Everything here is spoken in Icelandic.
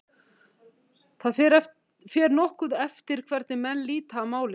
Það fer nokkuð eftir hvernig menn líta á málið.